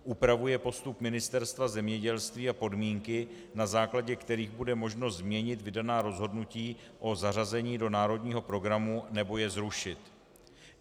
Upravuje postup Ministerstva zemědělství a podmínky, na základě kterých bude možno změnit vydaná rozhodnutí o zařazení do národního programu nebo je zrušit.